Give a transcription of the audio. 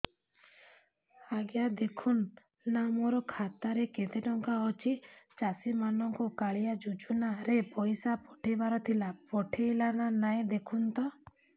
ଆଜ୍ଞା ଦେଖୁନ ନା ମୋର ଖାତାରେ କେତେ ଟଙ୍କା ଅଛି ଚାଷୀ ମାନଙ୍କୁ କାଳିଆ ଯୁଜୁନା ରେ ପଇସା ପଠେଇବାର ଥିଲା ପଠେଇଲା ନା ନାଇଁ ଦେଖୁନ ତ